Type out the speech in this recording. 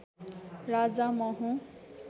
राजा म हुँ